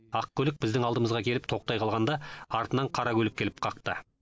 ақ көлік біздің алдымызға келіп тоқтай қалғанда артынан қара көлік келіп қақты